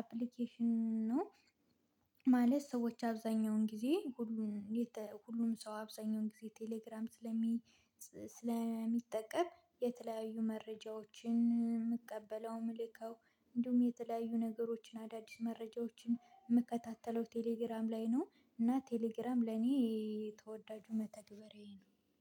አፕሊኬሽን ነው። ማለት ሰዎች አብዛኛውን ጊዜ ሁሉም ሁሉም ሰው አብዛኛውን ጊዜ ቴሌግራም ስለሚ ስለሚጠቀምበት የተለያዩ መረጃዎችን የምቀበለው ምልከው። እንዲሁም የተለያዩ ነገሮችን አዳዲስ መረጃዎችን የምከታተለው ቴሌግራም ላይ ነው። እና ቴሌግራም ለኔ ተወዳጁ መተግበሪያዬ ነው